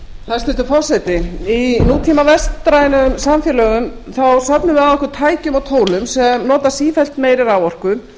hæstvirtur forseti í nútíma vestrænum samfélögum söfnum við að okkur tækjum og tólum sem nota sífellt meiri raforku